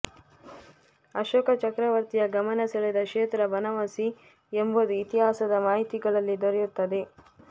ಅಶೋಕ ಚಕ್ರವರ್ತಿಯ ಗಮನ ಸೇಳೆದ ಕ್ಷೇತ್ರ ಬನವಾಸಿ ಎಂಬುದು ಇತಿಹಾಸದ ಮಾಹಿತಿಗಳಲ್ಲಿ ದೊರೆಯುತ್ತದೆ